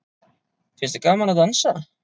Finnst þér gaman að dansa?